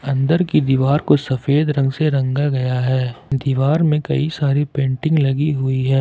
अंदर की दीवार को सफेद रंग से रंगा गया है दीवार में कई सारी पेंटिंग लगी हुई है।